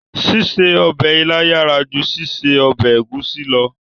Ṣíṣe ọbẹ̀ ilá yàrá ju ṣíṣe ọbẹ̀ ẹ̀gúsí lọ